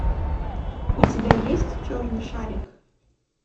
у тебя есть черный шарик